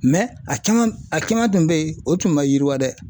a caman a caman tun bɛ yen o tun ma yiriwa dɛ.